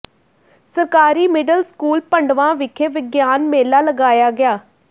ਸਰਕਾਰੀ middle school Pandwa ਵਿਖੇ ਵਿਗਿਆਨ ਮੇਲਾ ਲਗਾਇਆ ਗਿਆ